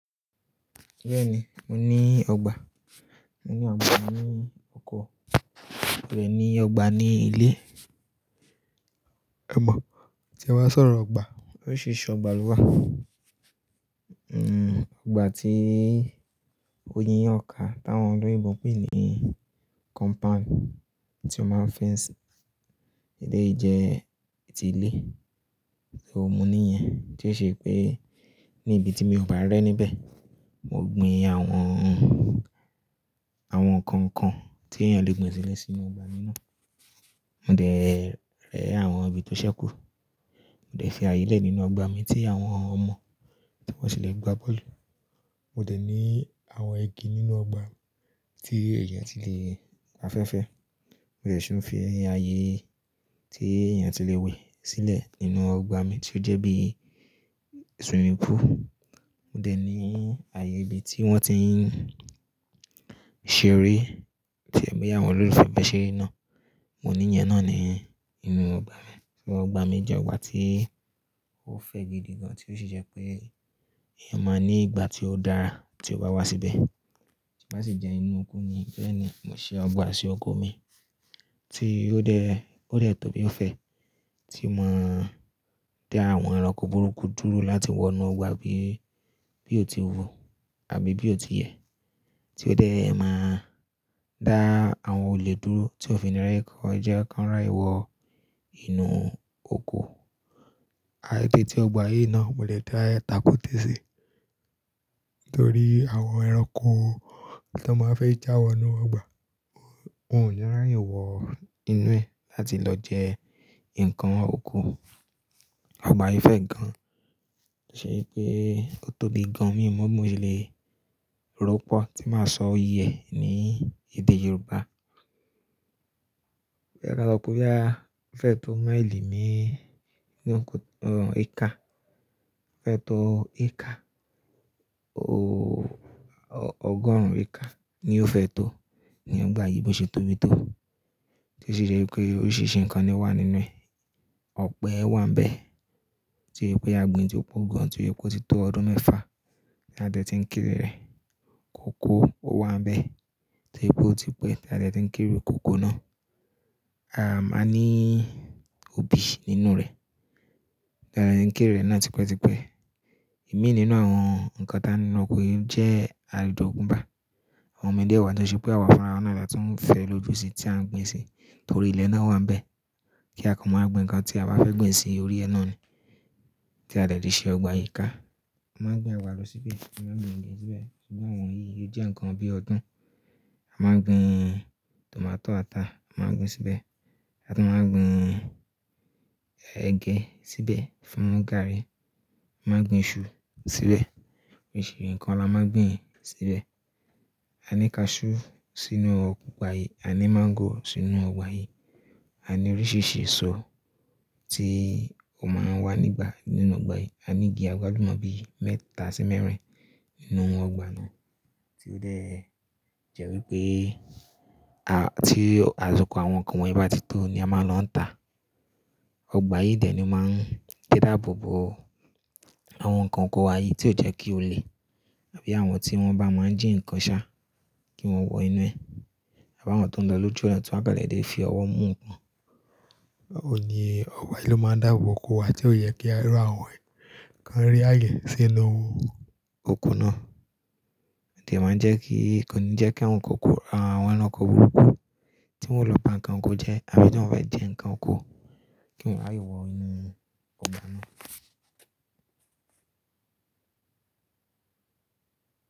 Bẹ́ẹ̀ni, mo ní ọgbà. Mo ní ọgbà ní oko, mo ní ọgbà ní ilé. Ẹ mọ̀, tí ẹ bá sọ̀rọ̀ ọgbà, oríṣìríṣì ọgbà ló wà. Hmm, ọgbà tí o yi yan kà táwọn oloyinbo n pè ní compound, tí wọn máa ń fẹ́nsì eléyi jẹ tí ilé. So, mo ní ìyẹn tí ó siṣe pé ní ibi tí mi ò bá rẹ́ níbẹ̀, mo gbin àwọn, àwọn nǹkan kan tí èèyàn lè gbìn sílẹ̀ sínú ọgbà náà Mo dẹ̀ rẹ́ àwọn ibi tó ṣẹ́kù. Mo dẹ̀ fi àyè lẹ̀ nínú ọgbà mi tí àwọn ọmọ tí wọ́n tì lè gbá bọ́ọ̀lù. Mo dẹ̀ ní àwọn igi nínú ọgbà tí ẹ̀yàn ti lè gbafẹ́fẹ́. Mo dẹ̀ ṣí ń fi ààyè tí èèyàn ti lè wẹ̀ sílẹ̀ nínú ọgbà mi tí ó jẹ́ bí swimming pool. Mo dẹ̀ ní ààyè ibi tí wọ́n ti ń ṣeré tí ẹ̀mí àwọn olólùfẹ́ bẹ́ ṣe eré náà. Mo ní ìyẹn náà ni nínú ọgbà mi. So ọgbà mi jẹ́ ọgbà tí ó fẹ̀ gidi gan tí ó ṣe ṣẹ pé èèyàn máa ní ìgbà tí ó dára tí ó bá wá síbẹ̀. Tí bá sì jẹ́ inú oko ni, bẹ́ẹ̀ni, mo ṣe ọgbà sí oko mi tí ó dẹ̀, ó dẹ̀ tó bí ó fẹ́ tí màá dá àwọn ẹranko burúkú dúró láti wọ inú ọgbà bí, bí ó ti wú àbí bí ó ti yẹ́, tí ó dẹ̀ máa dá àwọn olè dúró tí ó fi nílẹ̀ kó ja kán ràye wọ inú oko. Eteti ọgbà yìí náà molẹ̀ de tàkùtẹ̀ sí nítorí àwọn ẹranko tí a máa fẹ́ já wọ inú ọgbà, ó, ó ò ní rà ye wọ inú ẹ̀ láti lọ jẹ́ nǹkan oko. Ọgbà yìí fẹ̀ gan ṣe pé ó tóbi gan, mi ò mọ̀ bi mo ṣe lè ropọ̀ tí màá sọ iye ní èdè Yorùbá. Ẹ ra lọ kú bí a fẹ́ tó máìlì mé-ẹ́-jú ọ̀rùn éékà. A fẹ́ tó éékà, o-o-ọgọ́rùn éékà ni ó fẹ́ tó ni ọgbà yìí bí mo ṣe tóbi tó tí ó ṣe ṣẹ pé oríṣìíríṣìí nǹkan ni wà nínú ẹ. Ọ̀pẹ wà níbẹ̀ tí ó yẹ pé a gbìn tí ó pọ̀ gan tí ó yẹ pe ti tó ọdún mẹ́fà tí a dẹ̀ ti ń kere rẹ̀. Kòkó wà níbẹ̀ tí ó yẹ pé ó ti pé tí a dẹ̀ ti ń kere kòkó náà. A máa ní òbí nínú rẹ̀. A nkéré náà ti pẹ́ ti pẹ́. Ìmi nínú àwọn nǹkan tá ní inú ọkọ yi jẹ́ ajọ̀gún bá. Àwọn mi dé wa tọ ṣẹ pé àwa fún ara wa náà la tun fẹ́ lójú sí tí à ń gbin sí nítorí ilẹ̀ náà wà níbẹ̀. Kí á kan máa gbin nǹkan tí a bá fẹ́ gbin sí orí ẹ náà ni tí a dẹ̀ ti ṣe ọgbà yìí ká. A máa gbin àgbàdo síbè, a máa gbin ẹ̀gẹ síbẹ̀, ṣùgbọ́n àwọn yìí ó jẹ́ nǹkan bí ọdún. A máa gbin tòmátọ́ ata, a máa gbin síbẹ̀. A tún máa gbin ẹ̀gẹ síbẹ̀ fún gàarí. A máa gbin iṣu síbẹ̀. Oríṣìíríṣìí nǹkan la máa gbin síbẹ̀. Aní kaṣú sínú ọgbà yìí, a ní máńgò sínú ọgbà yìí. Aní oríṣìíríṣìí esọ ti ọma wà nígbà nínú ọgbà yìí. Aní igi àgbálùmọ̀ bí mẹ́ta sí mẹ́rin nínú ọgbà náà tí ó dẹ̀ jẹ́ wí pé a, tí àsiko àwọn nǹkan wọ̀nyí bá ti tó ni a máa lò ń tà. Ọgbà yìí dẹ̀ ni máa ń dáàbò bo àwọn nǹkan oko wa yìí tí ó jẹ́ kí ó le àbí àwọn tí wọ́n bá máa jí nǹkan ṣá kí wọ́n wọ inú ẹ̀. Àbáwọ́n tó ń lo lóju ona tí wọ́n kàn lọ èdè fi ọwọ́ mú nǹkan. Òun ni ọgbà yìí ló máa ń dáàbò oko wa tí ó yẹ kí a rọ àwọn nǹkan rí àyè sí inú oko náà. Dẹ̀ máa ń jẹ́ kí kò ní jẹ́ kí àwọn nǹkan oko, àwọn ẹranko burúkú tí wọn lọ pa nǹkan oko jẹ́ àbí tí wọn bá jẹ́ nǹkan oko kí wọ́n rí wọ inú ọgbà náà.